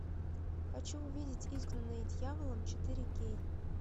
хочу увидеть изгнанные дьяволом четыре кей